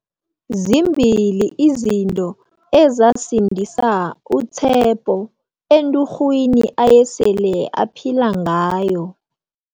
Zimbili izinto ezasindisa u-Tshepo enturhwini ayesele aphila ngayo.